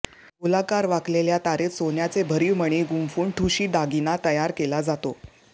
गोलाकार वाकलेल्या तारेत सोन्याचे भरीव मणी गुंफून ठुशी दागिना तयार केला जातो